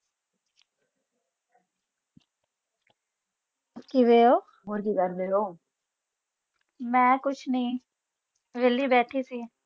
ਕਿ ਹੁਐ ਕਿ ਕਰ ਰਾਏ ਹੋ ਮੈਂ ਕੁਛ ਨੇ ਵੈਲੀ ਬੈਠੀ ਸੀ